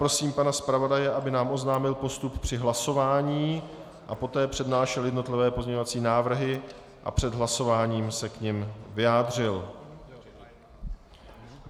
Prosím pana zpravodaje, aby nám oznámil postup při hlasování a poté přednášel jednotlivé pozměňovací návrhy a před hlasováním se k nim vyjádřil.